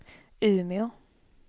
Umeå